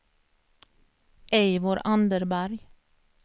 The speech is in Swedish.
Eivor Anderberg